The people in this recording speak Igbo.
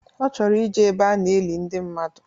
Ọ chọrọ ijee ebe a na-eli ndi mmadụ